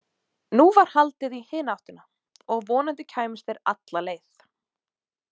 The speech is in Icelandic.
Nú var haldið í hina áttina, og vonandi kæmust þeir alla leið.